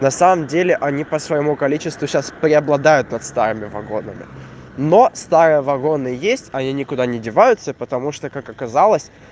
на самом деле они по своему количеству сейчас преобладают над старыми вагонами но старые вагоны есть они никуда не деваются потому что как оказалось